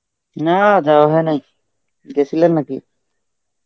না, যাওয়া হয় নাই. গেছিলেন নাকি?